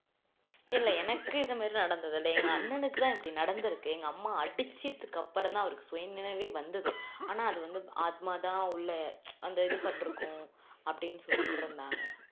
இல்ல எனக்கு இந்த மாதிரியெல்லாம் நடந்தது இல்ல எங்க அண்ணனுக்கு நடந்துருக்கு எங்க அம்மா அடிச்சதுக்கு அப்பறமா தான் அவருக்கு சுயநினைவே வந்தது ஆனா அது வந்து ஆத்மா தான் உள்ள அந்த இது பட்டுருக்கும் அப்படின்னு சொல்லிட்டு இருந்தாங்க